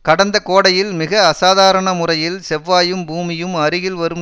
கடந்த கோடையில் மிக அசாதாராணமுறையில் செவ்வாயும் பூமியும் அருகில் வரும்